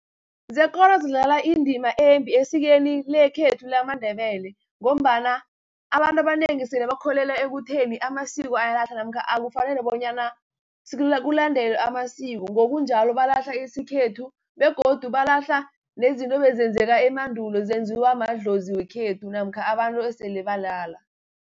Zekolo zidlala indima embi esikweni lekhethu lamaNdebele, ngombana abantu abanengi sele bakholelwa ekutheni amasiko ayalahla, namkha akufanele bonyana kulandelwe amasiko. Ngokunjalo balahla isikhethu, begodu balahla nezinto ebezenzeka emandulo zenziwa madlozi wekhethu, namkha abantu esele balala.